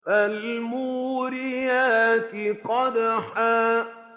فَالْمُورِيَاتِ قَدْحًا